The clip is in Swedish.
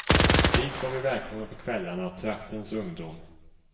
Dit var vi välkomna på kvällarna, traktens ungdom.